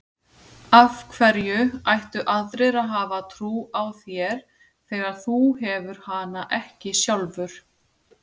Af hverju ættu aðrir að hafa trú á þér þegar þú hefur hana ekki sjálfur?